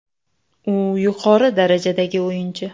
U yuqori darajadagi o‘yinchi.